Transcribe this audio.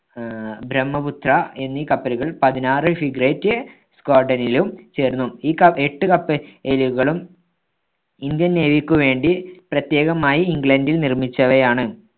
ആഹ് ബ്രഹ്മപുത്ര എന്നീ കപ്പലുകൾ പതിനാറ് frigate squadron ലും ചേർന്നു. ഈ ക എട്ട് കപ്പ~ലുകളും ഇന്ത്യൻ നേവിക്കുവേണ്ടി പ്രത്യേകമായി ഇംഗ്ലണ്ടിൽ നിർമ്മിച്ചവയാണ്.